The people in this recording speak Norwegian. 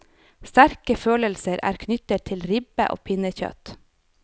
Sterke følelser er knyttet til ribbe og pinnekjøtt.